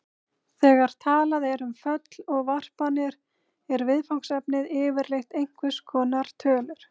Þegar talað er um föll og varpanir er viðfangsefnið yfirleitt einhvers konar tölur.